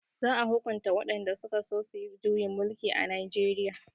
za a hukunta waɗanda sukaso suyi juyin mulki a najeriya